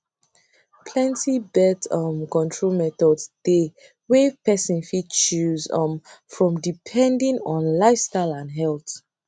plenty birth um control methods dey wey person fit choose um from depending on lifestyle and health